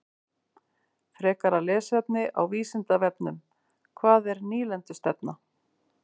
Frekara lesefni á Vísindavefnum: Hvað er nýlendustefna?